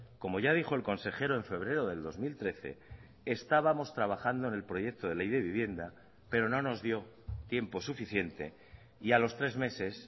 como ya dijo el consejero en febrero del dos mil trece estábamos trabajando en el proyecto de ley de vivienda pero no nos dio tiempo suficiente y a los tres meses